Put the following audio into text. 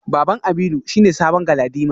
Baban Aminu shine sabon galadima.